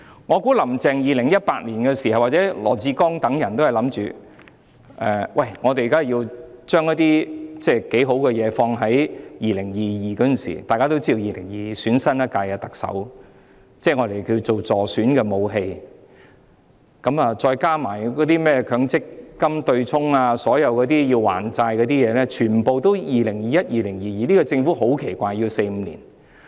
我估計在2018年，當時"林鄭"及羅致光等人均認為要將一些不錯的措施編排在2022年——大家都知道 ，2022 年將舉行新一屆特首選舉——可以作為所謂助選的武器，再加上取消強積金對沖安排，所有需要"還債"的項目全部都編排在2021年、2022年實行。